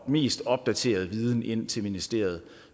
mest opdaterede viden ind til ministeriet